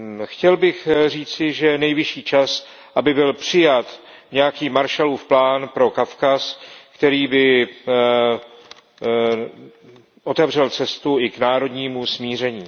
Chtěl bych říci, že je nejvyšší čas, aby byl přijat nějaký Marshallův plán pro Kavkaz, který by otevřel cestu i k národnímu smíření.